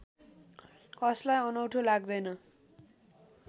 कसलाई अनौठो लाग्दैन